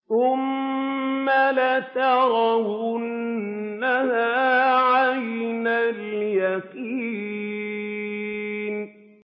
ثُمَّ لَتَرَوُنَّهَا عَيْنَ الْيَقِينِ